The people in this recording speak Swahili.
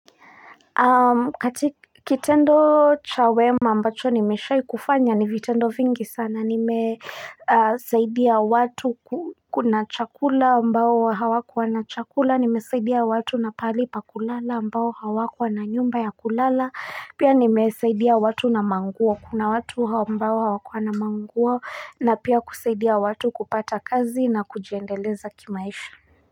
Kitendo cha wema ambacho nimeshai kufanya ni vitendo vingi sana nimesaidia watu kuna chakula ambao hawakuwa na chakula nimesaidia watu na pali pa kulala ambao hawakua na nyumba ya kulala pia nimesaidia watu na manguo kuna watu ambao hawakuwa na manguo na pia kusaidia watu kupata kazi na kujendeleza kimaisha.